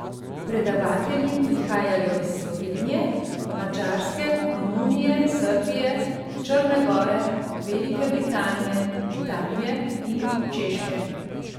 Predavatelji prihajajo iz Slovenije, Madžarske, Romunije, Srbije, Črne Gore, Velike Britanije, Italije in Češke.